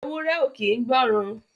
Ewúré ò kín gbọ̀ran.